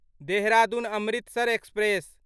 Dehradun Amritsar express